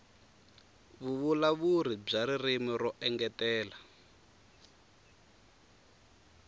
vuvulavuri bya ririmi ro engetela